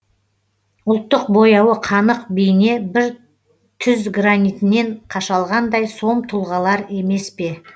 ұлттық бояуы қанық бейне бір түз гранитінен қашалғандай сом тұлғалар емес пе